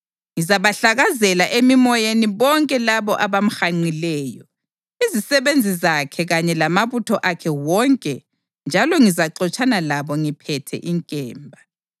Ngizabahlakazela emimoyeni bonke labo abamhanqileyo, izisebenzi zakhe kanye lamabutho akhe wonke njalo ngizaxotshana labo ngiphethe inkemba.